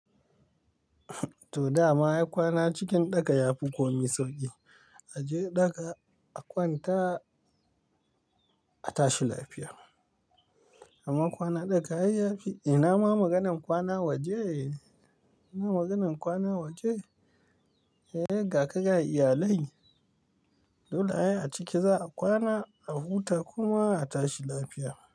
To dama ai kwana cikin ɗaka yafi komi sauƙi. Aje ɗaka a kwanta a tashi lafiya. Amma kwana ɗaka ai ya fi, ina ma maganan kwana waje? Ina maganan kwana waje? Eh ga ka ga iyalai, dole ai a ciki za'a kwana, a huta kuma a tashi lafiya.